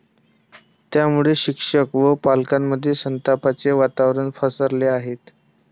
त्यामुळे शिक्षक व पालकांमध्ये संतापाचे वातावरण पसरले आहे.